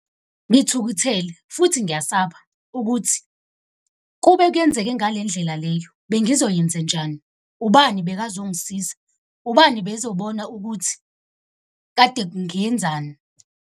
Ngithukuthele futhi ngiyasaba, ukuthi kube kuyenzeke ngale ndlela leyo bengizoyenzenjani? Ubani bekazongisiza? Ubani bezobona ukuthi kade ngiyenzani?